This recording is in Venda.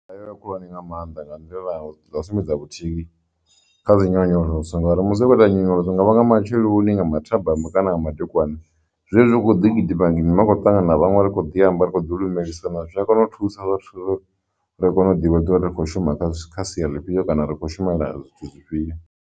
Ndi nḓila khulwane nga maanḓa nga nḓila ya u sumbedza vhuthihi kha dzi nyonyoloso ngauri musi a khou ita nyonyoloso nga vha nga matsheloni nga mathabama kana nga madekwana zwi hezwo ḓi gidima gidima a kho ṱangana vhaṅwe ri kho ḓi amba ri kho ḓi lumelisi kana zwi a kone u thusa vhathu uri ri kone u ḓivha uri ri kho shuma kha kha sia lifhio kana ri khou shumela zwithu zwifhio.